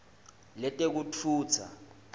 letekutfutsa